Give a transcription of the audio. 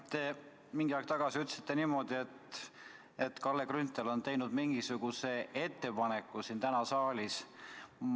Te mingi aeg tagasi ütlesite, et Kalle Grünthal on teinud mingisuguse ettepaneku täna siin saalis.